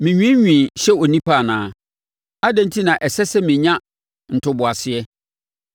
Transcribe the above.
“Me nwiinwii hyɛ onipa anaa? Adɛn enti na ɛsɛ sɛ menya ntoboaseɛ?